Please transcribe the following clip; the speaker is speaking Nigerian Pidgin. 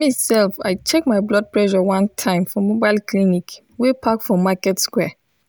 me self i check my blood pressure one time for mobile clinic wey park for market square.